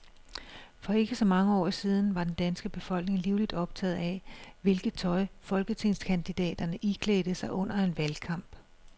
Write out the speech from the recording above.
For ikke så mange år siden var den danske befolkning livligt optaget af, hvilket tøj folketingskandidaterne iklædte sig under en valgkamp.